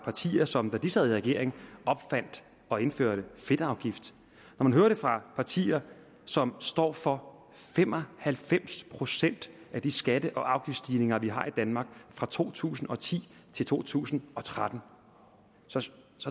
partier som da de sad i regering opfandt og indførte en fedtafgift når man hører det fra partier som står for fem og halvfems procent af de skatte og afgiftsstigninger vi har i danmark fra to tusind og ti til to tusind og tretten så